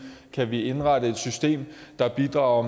kan vi indrette et system der bidrager